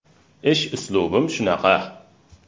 Ish uslubim shunaqa”.